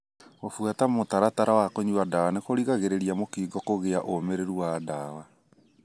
Gũbuata mũtaratara wa kũnyua ndawa nĩkũgiragĩrĩriIa mũkingo kũgia ũmĩrĩrũ wa ndawa.